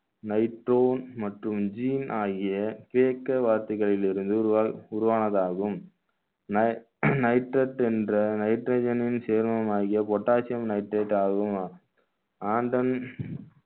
nitro மற்றும் gene ஆகிய கிரேக்க வார்த்தைகளில் இருந்து உருவா~ உருவானதாகும் ni~ nitrate என்ற nitrogen னின் சேரமாகிய potassium nitrate ஆகும்